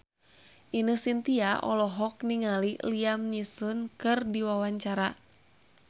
Ine Shintya olohok ningali Liam Neeson keur diwawancara